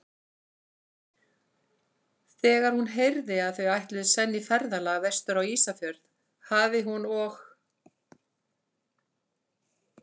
Þegar hún heyrði, að þau ætluðu senn í ferðalag vestur á Ísafjörð, hafi hún og